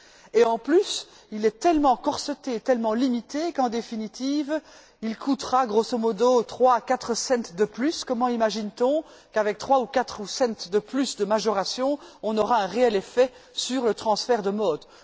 De plus, il est tellement corseté, tellement limité, qu'en définitive, il coûtera grosso modo trois à quatre cents de plus. Comment imagine t on qu'avec trois ou quatre cents de plus de majoration, on aura un réel effet sur le transfert de modes?